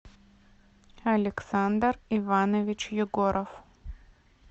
александр иванович егоров